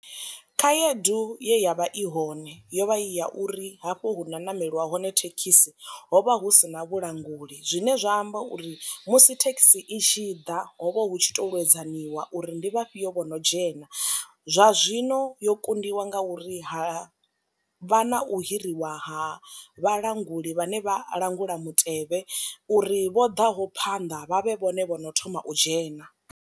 Khaedu ye ya vha i hone yo vha i ya uri hafho hu na ṋameliwa hone thekhisi hovha hu si na vhulanguli, zwine zwa amba uri musi thekhisi i tshi ḓa hovha hu tshi to lwedzaniwa uri ndi vha fhio vho no ndzhena, zwa zwino yo kundiwa nga uri ha vha na u hiriwa ha vha languli vhane vha langula mutevhe uri vho ḓaho phanḓa vha vhe vhone vhono thoma u dzhena.